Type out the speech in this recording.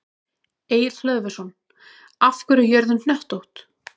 Egill Hlöðversson: Af hverju er jörðin hnöttótt?